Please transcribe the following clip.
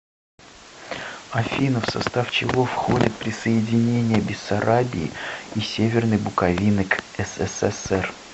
афина в состав чего входит присоединение бессарабии и северной буковины к ссср